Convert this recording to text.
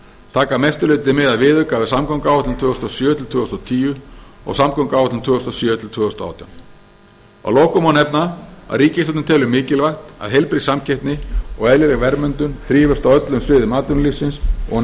taka að mestu leyti mið af viðauka við samgönguáætlun tvö þúsund og sjö til tvö þúsund og tíu og samgönguáætlun tvö þúsund og sjö til tvö þúsund og átján að lokum má nefna að ríkisstjórnin telur mikilvægt að heilbrigð samkeppni og eðlileg verðmyndun þrífist á öllum sviðum atvinnulífsins og að